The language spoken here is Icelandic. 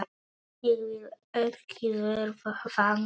Ég vil ekki verða fangi.